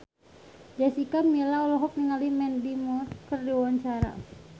Jessica Milla olohok ningali Mandy Moore keur diwawancara